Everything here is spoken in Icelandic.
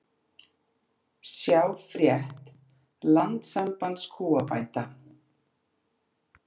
Sjá frétt Landssambands kúabænda